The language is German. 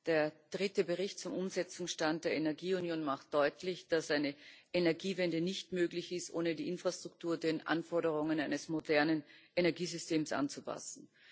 Der dritte Bericht zum Umsetzungsstand der Energieunion macht deutlich, dass eine Energiewende nicht möglich ist, ohne die Infrastruktur den Anforderungen eines modernen Energiesystems anzupassen.